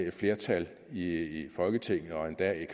et flertal i folketinget og endda